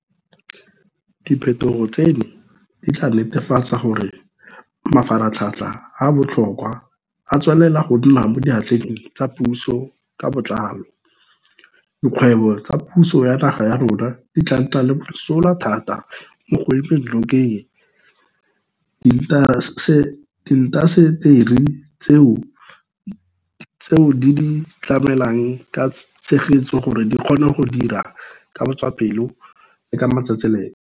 Diphetogo tseno di tla netefatsa gore mafaratlhatlha a a botlhokwa a tswelela go nna mo diatleng tsa puso ka botlalo, dikgwebo tsa puso ya naga ya rona di tla nna le mosola thata mo go emeng nokeng diintaseteri tseo di di tlamelang ka tshegetso gore di kgone go dira ka botswapelo le ka matsetseleko.